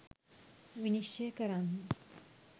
විනිශ්චය කරන්න.